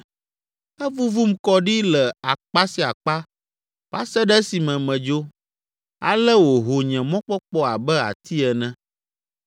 Evuvum kɔ ɖi le akpa sia akpa va se ɖe esime medzo, ale wòho nye mɔkpɔkpɔ abe ati ene.